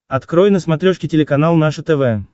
открой на смотрешке телеканал наше тв